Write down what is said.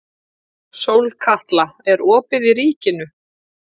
Sólkatla, er opið í Ríkinu?